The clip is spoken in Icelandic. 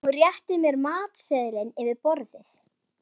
Hún réttir mér matseðilinn yfir borðið.